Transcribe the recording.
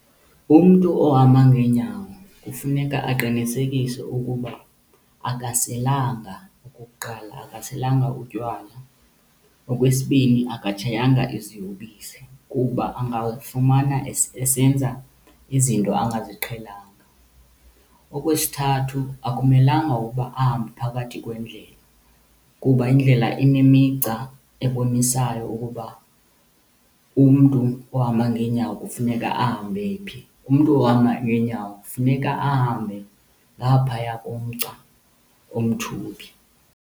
Umntu ohamba ngeenyawo kufuneka aqinisekise ukuba akaselanga okokuqala, akaselanga utywala. Okwesibini, akatshayanga iziyobisi kuba angafumana esenza izinto angaziqhelanga. Okwesithathu, akumelanga ukuba ahambe phakathi kwendlela kuba indlela inemigca ebonisayo ukuba umntu ohamba ngeenyawo kufuneka ahambe phi. Umntu ohamba ngeenyawo kufuneka ahambe ngaphaya komgca omthubi.